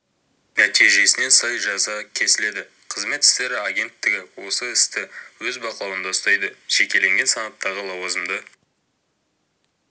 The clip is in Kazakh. нәтижесіне сай жаза кесіледі қызмет істері агенттігі осы істі өз бақылауында ұстайды жекелеген санаттағы лауазымды